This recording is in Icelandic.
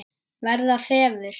Verða þefur.